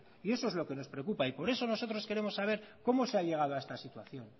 y eso es lo que nos preocupa y por eso nosotros queremos saber cómo se ha llegado a esta situación